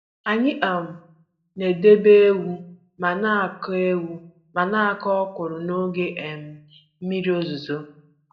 Anyị um na-edebe ewu ma na-akụ ewu ma na-akụ ọkwụrụ n'oge um mmiri ozuzo.